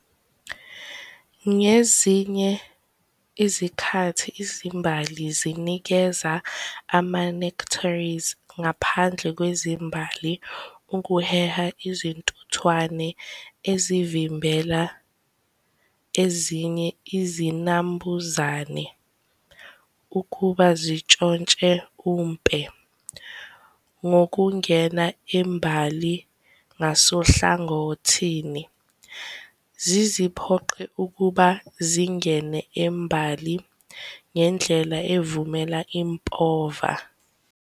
Ngezinye izikhathi izimbali zinikeza ama-nectaries ngaphandle kwezimbali ukuheha izintuthwane ezivimbela ezinye izinambuzane ukuba zitshontshe umpe ngokungena imbali ngasohlangothini, ziziphoqe ukuba zingene embali ngendlela evumela impova.